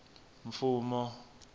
mfumo